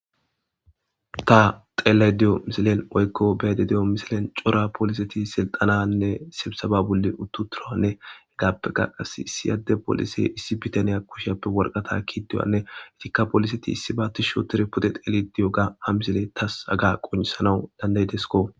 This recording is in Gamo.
ta tseelay di'o misilen woykko be'aydda de'o misilen cora poliseti silxananne sebisaba bolli utturanne hegappeka qas issi adde polise issi bitaniya kushshyappe worqatta kiduwanne etikka poliseti issi ba tishi otire pude tseeli diyogga ha misile tas haga qoncisanawu dandayeteskko